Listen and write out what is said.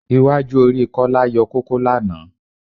Iwájú orí Kọ́lá yọ kókó lánàá